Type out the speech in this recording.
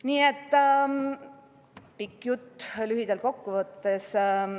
Püüan pika jutu lühidalt kokku võtta.